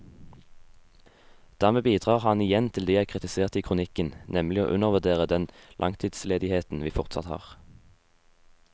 Dermed bidrar han igjen til det jeg kritiserte i kronikken, nemlig å undervurdere den langtidsledigheten vi fortsatt har.